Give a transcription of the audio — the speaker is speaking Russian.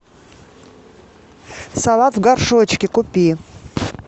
салат в горшочке купи